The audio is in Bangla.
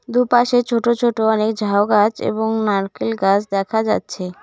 দুপাশে ছোট ছোট অনেক ঝাউ গাছ এবং নারকেল গাছ দেখা যাচ্ছে।